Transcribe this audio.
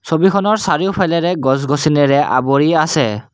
ছবিখনৰ চাৰিওফালেৰে গছ-গছনিৰে আৱৰি আছে।